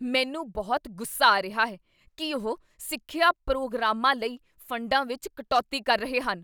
ਮੈਨੂੰ ਬਹੁਤ ਗੁੱਸਾ ਆ ਰਿਹਾ ਹੈ ਕੀ ਉਹ ਸਿੱਖਿਆ ਪ੍ਰੋਗਰਾਮ ਾਂ ਲਈ ਫੰਡਾਂ ਵਿੱਚ ਕਟੌਤੀ ਕਰ ਰਹੇ ਹਨ।